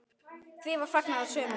Því var fagnað af sumum.